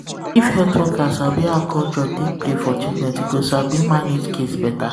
if health worker sabi how culture take play for treatment e go sabi um manage case better